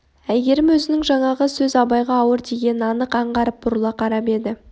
әйгерім өзінің жаңағы сөз абайға ауыр тигенін анық аңғарып бұрыла қарап еді